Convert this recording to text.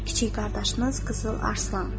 Kiçik qardaşınız Qızıl Arslan.